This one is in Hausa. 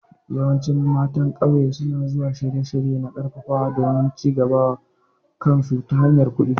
Yawancin matan ƙauye su na zuwa shirye-shirye na ƙarfafawa domin cigaba wa kansu ta hanyar kuɗi.